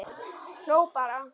Hló bara.